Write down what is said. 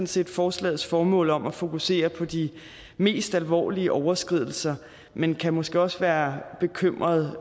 set forslagets formål om at fokusere på de mest alvorlige overskridelser men kan måske også være bekymrede